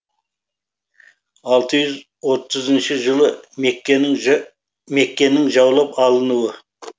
алты жүз отызыншы жылы меккенің жаулап алынуы